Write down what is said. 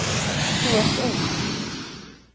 Þú ert ung.